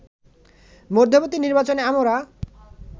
মধ্যবর্তী নির্বাচনে আমরা